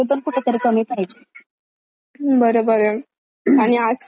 बर बर आणि आजकाल तर तस म्युजिक च म्हटलं तर ना,